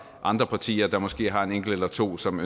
andre partier der måske har en enkelt eller to som